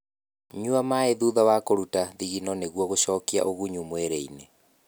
Nyua maĩ thutha wa kũrũta thithino nĩguo gũcokia ũgunyu mwĩrĩ-ini